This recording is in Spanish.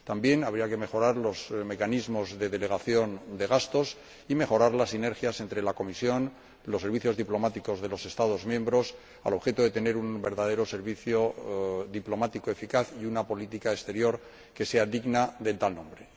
También habría que mejorar los mecanismos de delegación de gastos y mejorar las sinergias entre la Comisión y los servicios diplomáticos de los Estados miembros al objeto de tener un verdadero servicio diplomático eficaz y una política exterior que sea digna de tal nombre.